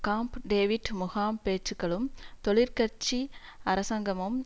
காம்ப் David முகாம் பேச்சுக்களும் தொழிற்கட்சி அரசாங்கமும்